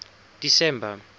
december